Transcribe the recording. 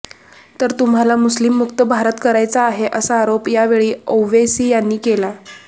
तर तुम्हाला मुस्लिम मुक्त भारत करायचा आहे असा आरोप यावेळी औवेसी यांनी केला